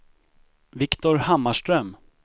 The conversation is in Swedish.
Viktor Hammarström